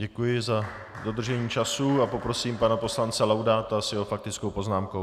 Děkuji za dodržení času a poprosím pana poslance Laudáta s jeho faktickou poznámkou.